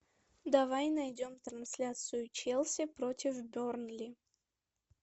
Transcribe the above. давай найдем трансляцию челси против бернли